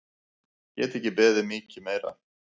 Get ekki beðið um mikið meira!